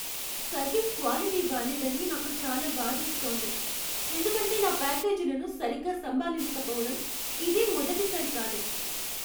Service quality బాలేదని నాకు చాలా బాధేస్తోంది, ఎందుకంటే నా ప్యాకేజీలను సరిగ్గా సంభాళించక పోవటం ఇదేం మొదటిసారి కాదు.